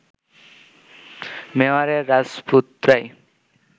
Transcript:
মেওয়ারের রাজপুতরাই